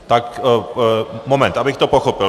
Tak moment, abych to pochopil.